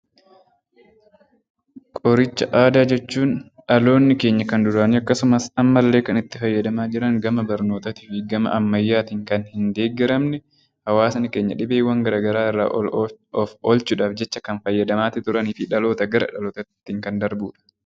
Qoricha Aadaa jechuun dhaloonni keenya kan duraanii akkasumas ammallee kannitti fayyadamaa jiran, gama barnootaa fi gama ammayyaatiin kan hin deeggaramne, hawwaasni keenya dhibeewwan gara garaa irraa of oolchuuf jecha kan fayyadamaa turanii fi dhalootaa gara dhalootaatti kan darbudha.